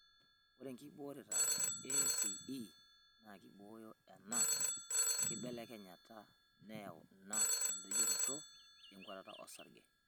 Ore nkibooreta e ACE naa keibooyo ena kibelekenyata neyau ina endoyioroto tenkuatata osarge.